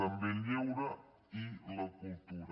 també el lleure i la cultura